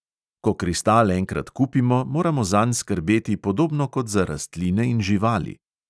Ko kristal enkrat kupimo, moramo zanj skrbeti podobno kot za rastline in živali.